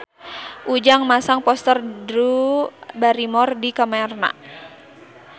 Ujang masang poster Drew Barrymore di kamarna